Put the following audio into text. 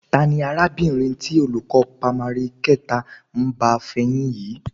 Ta ni arábìnrin tí olùkọ́ pámárì kẹta ń bá fẹyín yìí?